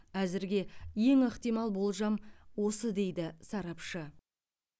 әзірге ең ықтимал болжам осы дейді сарапшы